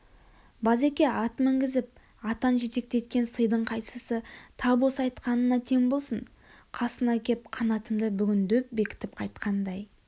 базеке ат мінгізіп атан жетектеткен сыйдың қайсысы тап осы айтқанына тең болсын қасыңа кеп қанатымды бүгін деп бекітіп қайтқандай